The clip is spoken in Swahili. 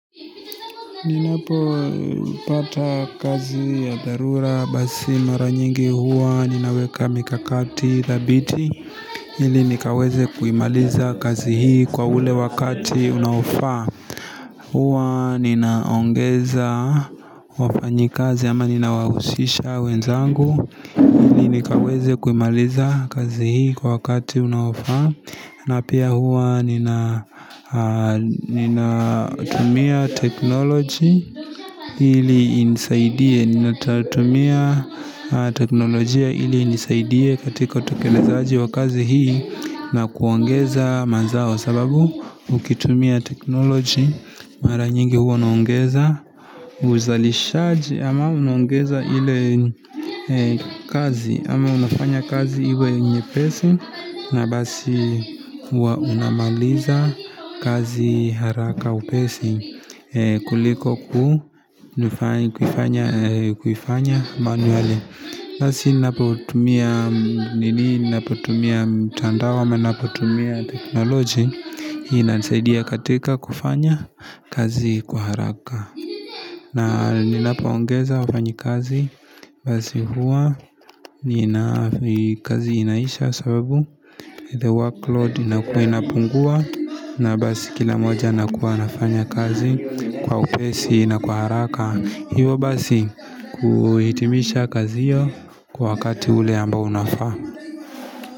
Ninapopata kazi ya dharura basi mara nyingi huwa ninaweka mikakati thabiti ili nikaweze kuimaliza kazi hii kwa ule wakati unaofaa huwa ninaongeza wafanyikazi ama ninawahusisha wenzangu ili nikaweze kuimaliza kazi hii kwa wakati unaofaa na pia huwa nina tumia teknology ili inisaidie Ninatumia teknolojia ili inisaidie katika tokelezaji wa kazi hii na kuongeza mazao sababu ukitumia teknoloji Mara nyingi huwa naongeza uzalishaji ama naongeza ile kazi ama unafanya kazi iwe nyepesi na basi huwa unamaliza kazi haraka upesi kuliko kuifanya manually Basi napotumia nini napotumia mtandao ama napotumia teknoloji inanisaidia katika kufanya kazi kwa haraka na ninapoongeza wafanyi kazi Basi huwa kazi inaisha sababu The workload inakua inapungua na basi kila moja anakua anafanya kazi kwa upesi na kwa haraka hiyo basi kuhitimisha kazi hiyo kwa wakati ule ambao unafaa.